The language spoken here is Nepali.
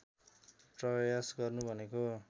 प्रयास गर्नु भनेको